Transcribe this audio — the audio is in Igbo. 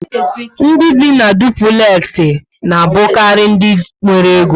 Ndị bi na dupulexi na abukari ndị nwéré Égó